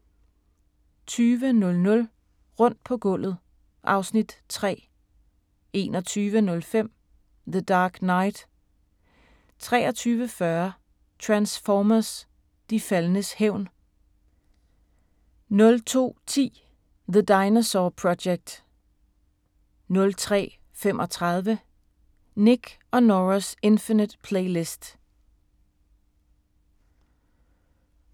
20:00: Rundt på gulvet (Afs. 3) 21:05: The Dark Knight 23:40: Transformers: De faldnes hævn 02:10: The Dinosaur Project 03:35: Nick & Norah’s Infinite Playlist